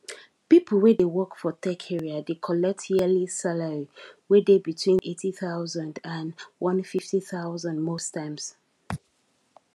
people wey dey work for tech area dey collect yearly salary wey dey between 80000 and 150000 most times